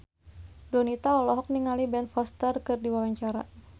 Donita olohok ningali Ben Foster keur diwawancara